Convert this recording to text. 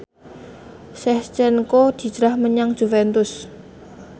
Shevchenko hijrah menyang Juventus